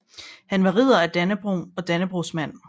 Han var Ridder af Dannebrog og Dannebrogsmand